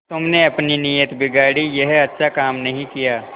तुमने अपनी नीयत बिगाड़ी यह अच्छा काम नहीं किया